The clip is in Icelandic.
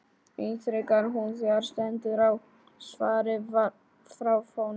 ítrekar hún þegar stendur á svari frá honum.